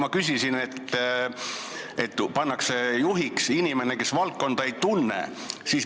Ma küsisin selle kohta, et juhiks pannakse inimene, kes valdkonda ei tunne.